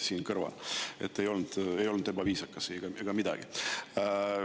Nii et ei olnud ebaviisakas ega midagi.